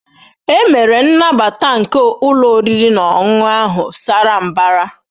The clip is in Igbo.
E mere nnabata nke ụlọ oriri na ọṅụṅụ ahụ sara mbara